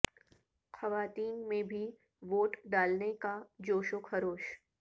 خواتین میں بھی ووٹ ڈالنے کا جوش و خروش